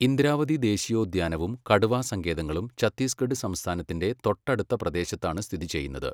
ഇന്ദ്രാവതി ദേശീയോദ്യാനവും കടുവാ സങ്കേതങ്ങളും ഛത്തീസ്ഗഢ് സംസ്ഥാനത്തിന്റെ തൊട്ടടുത്ത പ്രദേശത്താണ് സ്ഥിതി ചെയ്യുന്നത്.